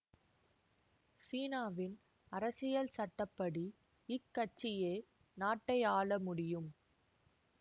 சீனாவின் அரசியல் சட்ட படி இக் கட்சியே நாட்டை ஆள முடியும்